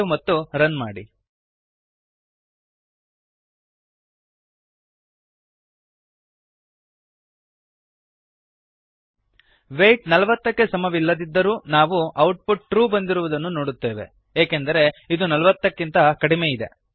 save ಮತ್ತು run ಮಾಡಿ weight ೪೦ ಕ್ಕೆ ಸಮವಿಲ್ಲದಿದ್ದರೂ ನಾವು ಔಟ್ ಪುಟ್ ಟ್ರೂ ಬಂದಿರುವುದನ್ನು ನೋಡುತ್ತೇವೆ ಏಕೆಂದರೆ ಇದು ನಲವತ್ತಕ್ಕಿಂತ ಕಡಿಮೆಯಿದೆ